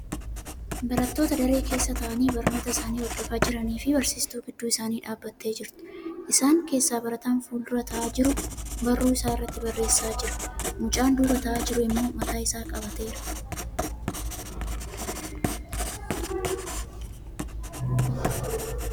Barattoota daree keessa taa'anii barnoota isaanii hordofaa jiranii fi barsiistuu gidduu isaanii dhaabbattee jirtu. Isaan keessaa barataan fuuldura taa'aa jiru barruu isaa irratti barreessaa jira. Mucaan duuba taa'aa jiru immoo mataa isaa qabateera.